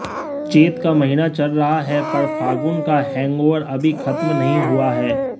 चैत का महीना चल रहा है पर फागुन का हैंगओवर अभी ख़त्म नहीं हुआ है